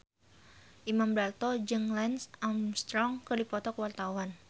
Imam Darto jeung Lance Armstrong keur dipoto ku wartawan